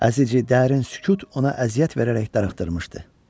Əzici dərin sükut ona əziyyət verərək darıxdırmışdı.